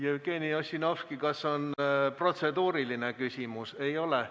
Jevgeni Ossinovski, kas on protseduuriline küsimus?